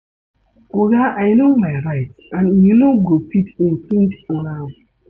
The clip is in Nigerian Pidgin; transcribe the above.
Oga I no my rights and you no fit infringe on am.